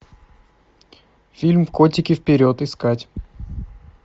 фильм котики вперед искать